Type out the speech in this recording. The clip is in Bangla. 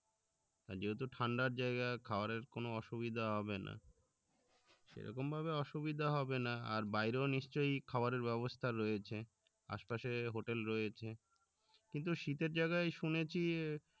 আর যেহেতু ঠান্ডার জায়গা খাবারের কোনো অসুবিধা হবেনা সেরকম ভাবে অসুবিধা হবেনা আর বাইরেও নিশ্চই খাবারের ব্যবস্থা রয়েছে আসে পশে hotel রয়েছে কিন্তু শীতের জায়গায় শুনেছি